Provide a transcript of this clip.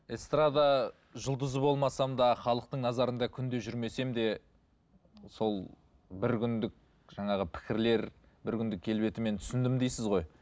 эстрада жұлдызы болмасам да халықтың назарында күнде жүрмесем де сол бір күндік жаңағы пікірлер бір күндік келбетіммен түсіндім дейсіз ғой